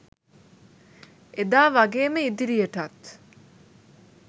එදා වගේම ඉදිරියටත්